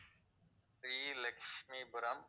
Sri Lakshmipuram